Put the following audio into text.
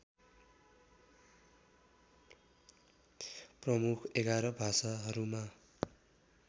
प्रमुख ११ भाषाहरूमा